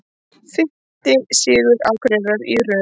Fimmti sigur Akureyrar í röð